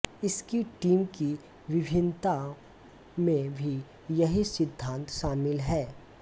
इसकी टीम की विभिन्नताओं में भी यही सिद्धांत शामिल है